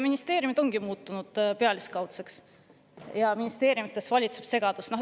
Ministeeriumid ongi muutunud pealiskaudseks ja ministeeriumides valitseb segadus.